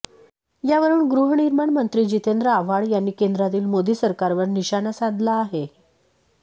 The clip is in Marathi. यावरुन गृहनिर्माण मंत्री जितेंद्र आव्हाड यांनी केंद्रातील मोदी सरकारवर निशाणा साधला आहे